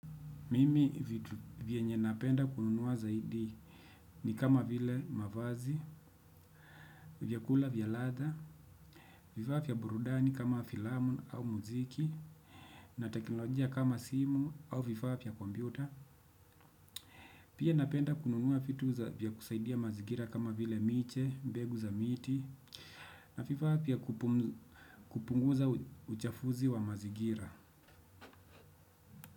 Mimi vitu vyenye napenda kununua zaidi ni kama vile; mavazi, vyakula vya ladha, vifaa vya burudani kama filamu au muziki, na teknolojia kama simu au vifaa vya kompyuta. Pia napenda kununua vitu za vya kusaidia mazigira kama vile miche, mbegu za miti, na vifaavya kupunguza uchafuzi wa mazingira.